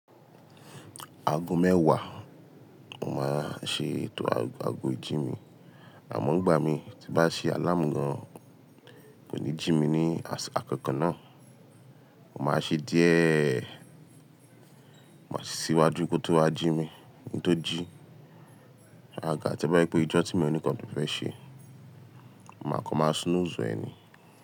Aago mẹ́wàá, mo máa ṣe ètò àgọ́ ijí mi, àmọ́ ìgbà mi tí n bá ṣe àlámu gàn, kò ní jí mi ní àkọ́kọ́ náà. Mo máa ṣe díẹ̀, má sì síwájú kó tó wá jí mi. Ki n tó jí, agaga to bá je pé ijọ́ tí mo ní kàn ni ò fẹ́ ṣe, màá kọ máa snooze e ni.